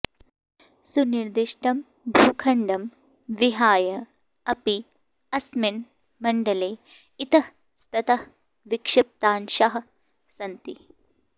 सुनिर्दिष्टं भूखण्डं विहाय अपि अस्मिन् मण्डले इतःस्ततः विक्षिप्तांशाः सन्ति